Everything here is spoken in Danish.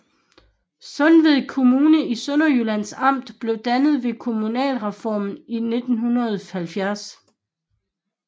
Sundeved Kommune i Sønderjyllands Amt blev dannet ved kommunalreformen i 1970